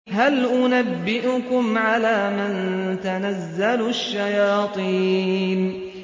هَلْ أُنَبِّئُكُمْ عَلَىٰ مَن تَنَزَّلُ الشَّيَاطِينُ